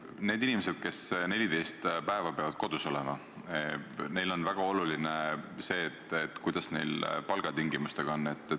Nendel inimestel, kes 14 päeva peavad kodus olema, on väga oluline teada, kuidas neil palgatingimustega on.